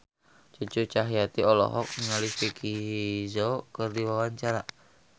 Cucu Cahyati olohok ningali Vicki Zao keur diwawancara